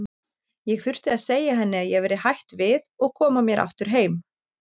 Ég þurfti að segja henni að ég væri hætt við og koma mér aftur heim.